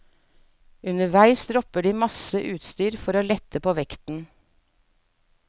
Underveis dropper de masse utstyr for å lette på vekten.